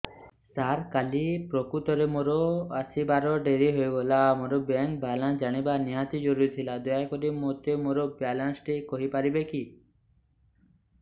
ସାର କାଲି ପ୍ରକୃତରେ ମୋର ଆସିବା ଡେରି ହେଇଗଲା ମୋର ବ୍ୟାଙ୍କ ବାଲାନ୍ସ ଜାଣିବା ନିହାତି ଜରୁରୀ ଥିଲା ଦୟାକରି ମୋତେ ମୋର ବାଲାନ୍ସ ଟି କହିପାରିବେକି